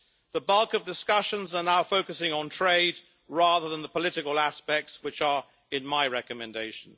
The bulk of discussions are now focusing on trade rather than the political aspects, which are in my recommendation.